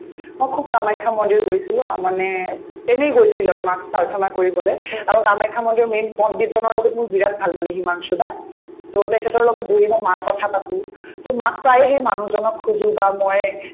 মই খুব কামাখ্যা মন্দিৰ গৈছিলো আ মানে এনেই গৈছিলো আৰু মাক প্ৰাৰ্থনা কৰিবলে আৰু কামাখ্যা মন্দিৰৰ main পণ্ডিত জনৰ লগত মোৰ বিৰাট ভাল মানে হিমাংশু দাক to তেখেতৰ লগত বহি মই মাৰ কথা পাতো to মাক সেই মানুহজনক বা ময়ে